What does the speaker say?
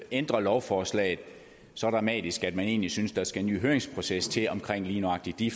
ændrer lovforslaget så dramatisk at man egentlig synes der skal en ny høringsproces til om lige nøjagtig de